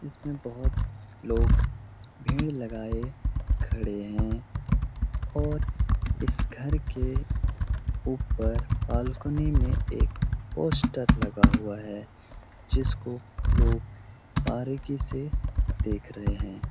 इसमें बहुत लोग भीड़ लगाए खड़े हैं और इस घर के ऊपर बालकनी में एक पोस्टर लगा हुआ है जिसको लोग बारीकी से देख रहें हैं।